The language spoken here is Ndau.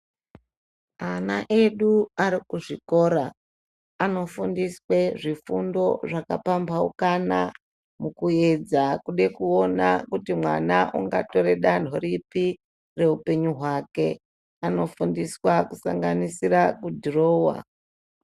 Ana edu arikuzvikora, anofundiswa zvifundo zvakapambhauka mukuedza kude kuona kuti mwana ungatora danho ripi reupenyu hwake, anofundiswa kusanganisira kudhirowa.